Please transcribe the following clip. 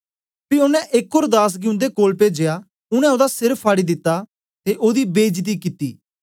पी ओनें एक ओर दास गी उन्दे कोल पेजया उनै ओदा सिर फाड़ी दिता ते ओदी बेईजती कित्ती